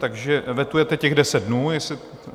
Takže vetujete těch 10 dnů?